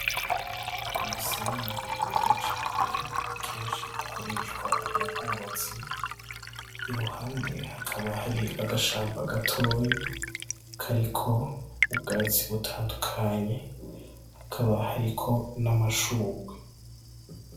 Umusenyi wera cane kenshi ukoreshwa mu bwubatsi, iruhande hakaba hari agashamba gatoya kariko ubwatsi butandukanye, hakaba hariko n'amashugwe.